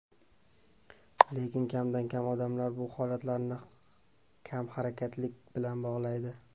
Lekin kamdan-kam odamlar bu holatlarni kamharakatlilik bilan bog‘laydi.